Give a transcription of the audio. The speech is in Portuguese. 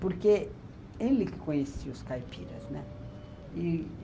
Porque ele que conhecia os caipiras, né.